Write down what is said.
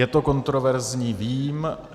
Je to kontroverzní, vím.